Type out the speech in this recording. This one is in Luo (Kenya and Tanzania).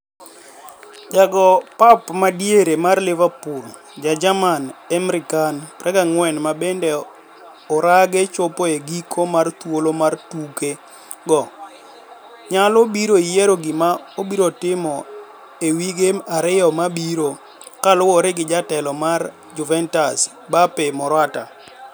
Ja go pap madiere mar Liverpool ja jerman Emre Can, 24, ma bende orage chopo e giko mar thuolo mar tuke go onyalo biro yiero gima obiro timo e wige ariyo mabirokaluore gi jatelo mar Juventus Beppe Marotta.